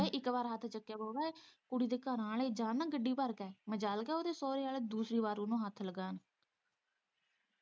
ਇੱਕ ਵਾਰ ਹੱਥ ਚੁੱਕਿਆ ਹਓੂਗਾ ਕੁੜੀ ਦੇ ਘਰਾਂ ਵਾਲੇ ਜਾਣ ਨਾ ਗੱਡੀ ਭਰ ਕੇ ਮਜ਼ਾਲ ਏ ਕਿ ਉਹਦੇ ਸਹੁਰੇ ਵਾਲ਼ੇ ਦੂਸਰੀ ਵਾਰ ਉਹਨੂੰ ਹੱਥ ਲਗਾਉਣ